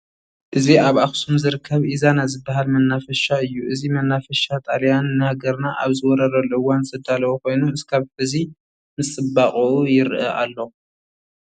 እዚ ኣብ ኣኽሱም ዝርከብ ኢዛና ዝበሃል መናፈሻ እዩ፡፡ እዚ መናፈሻ ጣልያን ንሃገርና ኣብ ዝወረረሉ እዋን ዘዳለዎ ኮይኑ እስካብ ሕዚ ምስ ፅባቐኡ ይርአ ኣሎ፡፡